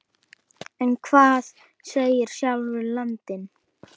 Nú var hann orðinn stærri.